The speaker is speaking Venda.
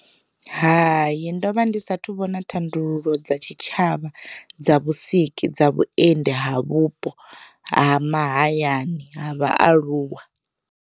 Hayi ndovha ndi sathu vhona thandululo dza tshitshavha dza vhusiki dza vhuendi ha vhupo ha mahayani ha vhaaluwa.